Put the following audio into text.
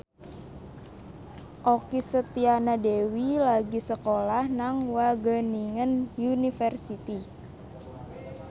Okky Setiana Dewi lagi sekolah nang Wageningen University